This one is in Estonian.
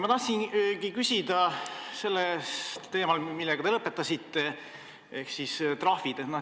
Ma tahan küsida teemal, millega te lõpetasite, ehk siis trahvid.